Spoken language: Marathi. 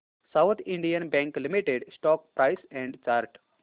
south Indian Bank Limited stock price and chart